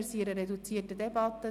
Wir führen eine reduzierte Debatte.